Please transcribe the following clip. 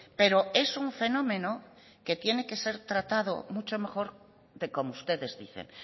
pero es un fenómeno que tiene que ser tratado mucho mejor de como ustedes dicen